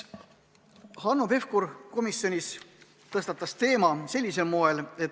Hanno Pevkur tõstatas sellise teema.